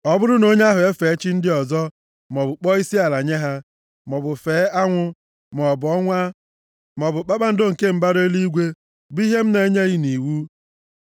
ọ bụrụ na onye ahụ efee chi ndị ọzọ, maọbụ kpọọ isiala nye ha, maọbụ fee anwụ, maọbụ ọnwa, maọbụ kpakpando nke mbara eluigwe bụ ihe m na-enyeghị nʼiwu,